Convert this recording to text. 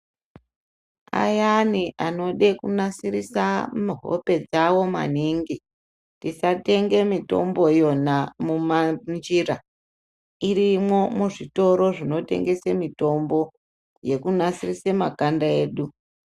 Ayani anode kunasirisa hope dzavo maningi tisatenge mitombo iyona munjira irimwo muzvitoro zvinotengese mitombo yekunasirise makanda edu.